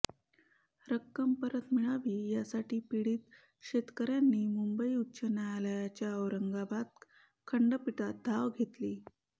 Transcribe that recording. रक्कम परत मिळावी यासाठी पीडित शेतकऱ्यांनी मुंबई उच्च न्यायालयाच्या औरंगाबाद खंडपीठात धाव घेतलीये